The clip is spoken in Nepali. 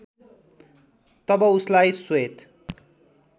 तब उसलाई श्वेत